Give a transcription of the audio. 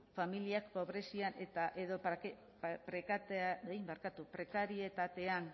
familiek pobrezian eta edo prekarietatean